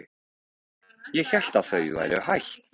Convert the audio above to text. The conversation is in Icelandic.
Ég hélt að þau væru hætt.